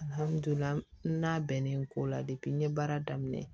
Alihamudulila n'a bɛnnen ko la n ye baara daminɛ